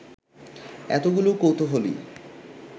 এতগুলো কৌতূহলী